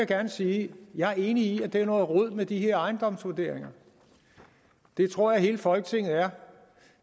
gerne sige at jeg er enig i at det er noget rod med de her ejendomsvurderinger det tror jeg hele folketinget er